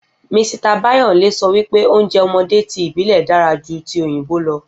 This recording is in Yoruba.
Misita Báyòńlé sọ wípé oúnjẹ ọmọdé tí ìbílè dára jú tí òyìnbó lọ